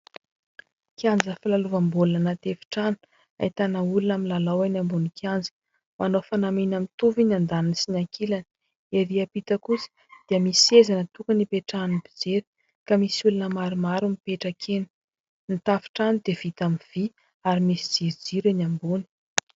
Kianja filalaovam-baolina anty efitrano ; ahitana olona milalao eny ambonin'ny kianja, manao fanamiana mitovy ny andaniny sy ny ankilany. Ery ampita kosa dia misy seza natokana ipetrahan'ny mpijery, ka misy olona maromaro mipetraka eny. Ny tafontrano dia vita amin'ny vy, ary misy jirojiro eny ambony.